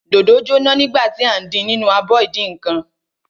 Dòdò jóná nígbà tí à ń din nínú abọ ìdínǹkan.